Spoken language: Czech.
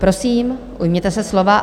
Prosím, ujměte se slova.